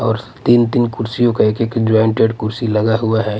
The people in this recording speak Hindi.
और तीन-तीन कुर्सियों का एक-एक जॉइंटेड कुर्सी लगा हुआ है.